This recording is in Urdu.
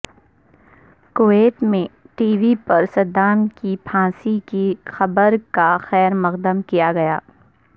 کویت میں ٹی وی پر صدام کی پھانسی کی خبر کا خیر مقدم کیاگیا